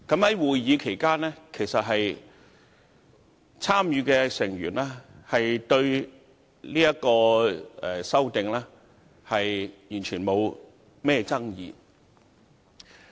在會議期間，參與的成員對《2017年能源效益條例令》完全沒有任何爭議。